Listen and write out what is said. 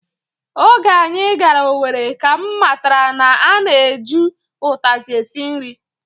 Oge anyị gara Owere ka m matara na a na-eju ụtazị esi nri